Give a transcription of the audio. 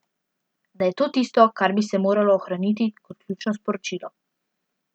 Da je to tisto, kar bi se moralo ohraniti kot ključno sporočilo.